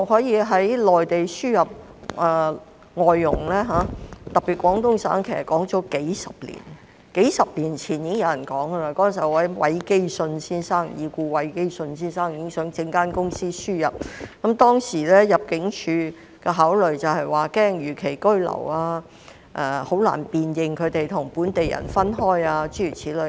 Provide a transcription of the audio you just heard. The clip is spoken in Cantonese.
從內地輸入內傭的說法已有數十年之久，數十年前已故的韋基舜先生已想成立公司輸入內傭，但當時入境處的考慮是擔心他們會逾期居留，以及難以辨別他們與本地人等。